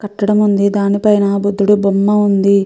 కట్టడం ఉంది. దానిపైన బుద్ధుడు బొమ్మ ఉంది.